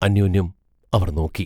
അന്യോന്യം അവർ നോക്കി.